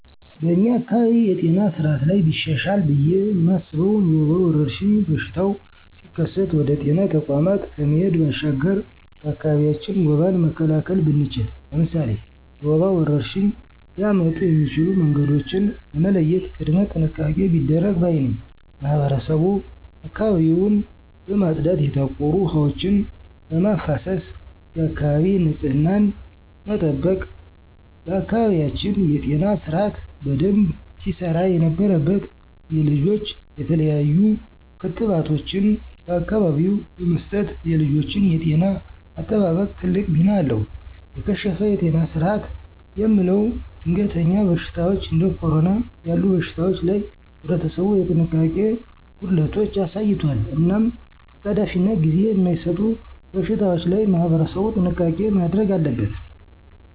በኛ አካባቢ የጤና ስአት ላይ ቢሻሻል ብየ ማስበው የወባ ወረርሽኝ በሽታው ሲከሰት ወደ ጤና ተቋማት ከመሄድ ባሻገር በአካቢያችን ወባን መካላከል ብንችል። ለምሳሌ፦ የወባ ወረርሽኝ ሊያመጡ የሚችሉ መንገዶችን በመለየት ቅድመ ጥንቃቄ ቢደረግ ባይ ነኝ። ማህበረሰቡ አካባቢውን በማፅዳት የታቆሩ ውሀ ወችን በማፋሰስ የአካባቢ ንፅህናን መጠበቅ። በአካባቢያችን የጤና ስርአት በደንብ ሲሰራ የነበረበት የልጆች የተለያሉ ክትባቶችን በአካቢው በመስጠት የልጆችን የጤና አጠባበቅ ትልቅ ሚና አለው። የከሸፈ የጤና ስርአት የምለው ደንገሀኛ በሽታወች እንዴ ኮረና ያሉ በሽታወች ላይ ህብረተሰቡ የጥንቃቄ ጎደለቶች አሳይቷል። እናም አጣዳፊናጊዜ ማይሰጡ በሽታወች ላይ ማህበረሰቡ ጥንቃቄ ማድረግ አለበት።